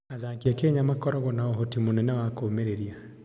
Athaki a Kenya makoragwo na ũhoti mũnene wa kũũmĩrĩria.